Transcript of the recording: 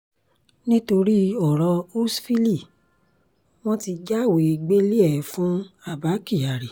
nítorí ọ̀rọ̀ húshhvili wọn ti jáwèé gbélé-e fún abba kyari